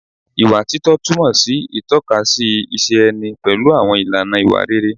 Ìwà títọ́ túmọ̀ sí títọ́kasí ìṣe ẹni pẹ̀lú àwọn ìlànà ìwà rere